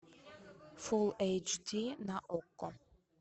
фул эйч ди на окко